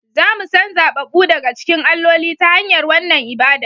Za mu san zaɓaɓɓu daga cikin alloli, ta hanyar wannan ibada